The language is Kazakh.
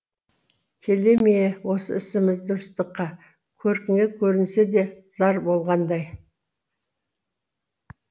келе ме осы ісіміз дұрыстыққа көркіңе көрінсе де зар болғандай